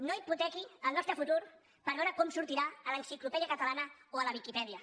no hipotequi el nostre futur per veure com sortirà a l’enciclopèdia catalana o a la viquipèdia